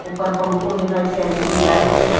ઉપર પંખો દેખાય છે. એલઈડી લાઈટ છે--